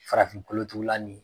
Farafin kolotugula nin